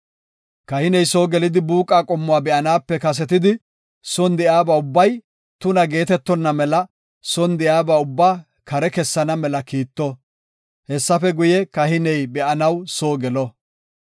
Kahiney soo gelidi buuqa qommuwa be7anaape kasetidi, son de7iyabay ubbay tuna geetetonna mela son de7iyaba ubbaa kare kessana mela kiitto; hessafe guye, kahiney be7anaw soo gelo.